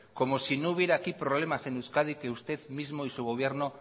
como si no hubiera problemas aquí en euskadi que usted mismo y su gobierno